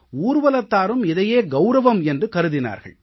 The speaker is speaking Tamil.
ஊர்வலத்தாரும் இதையே கௌரவம் என்று கருதினார்கள்